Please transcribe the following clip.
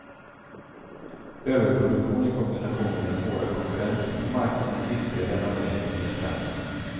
Överproduktionen i kombination med den hårda konkurrensen på marknaden är ytterligare en anledning till nedskärningarna.